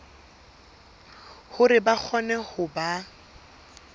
hore ba kgone ho ba